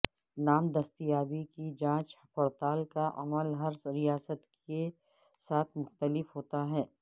نام دستیابی کی جانچ پڑتال کا عمل ہر ریاست کے ساتھ مختلف ہوتا ہے